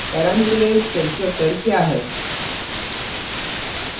parameterized constructor क्या है